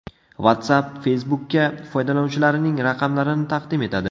WhatsApp Facebook’ka foydalanuvchilarining raqamlarini taqdim etadi.